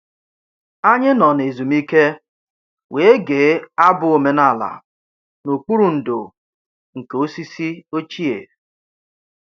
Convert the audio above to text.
Anyị nọ na ezumike wee gee abụ omenala n'okpuru ndò nke osisi ochie